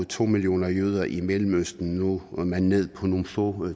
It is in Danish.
to millioner jøder i mellemøsten nu er man nede på nogle få